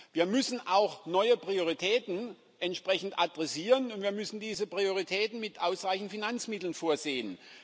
Wir müssen auch neue Prioritäten entsprechend adressieren, und wir müssen diese Prioritäten mit ausreichend Finanzmitteln versehen.